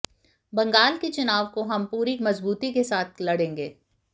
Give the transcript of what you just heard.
बंगाल के चुनाव को हम पूरी मजबूती के साथ लड़ेंगे